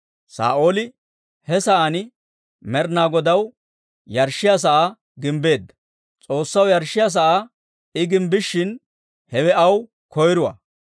Saa'ooli he sa'aan Med'inaa Godaw yarshshiyaa sa'aa gimbbeedda; S'oossaw yarshshiyaa sa'aa I gimbbishin, hewe aw koyruwaa.